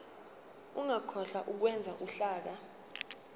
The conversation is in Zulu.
ungakhohlwa ukwenza uhlaka